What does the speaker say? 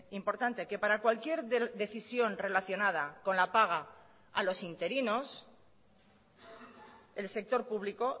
importante que para cualquier decisión relacionada con la paga a los interinos el sector público